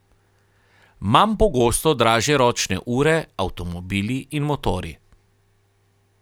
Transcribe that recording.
Manj pogosto dražje ročne ure, avtomobili in motorji.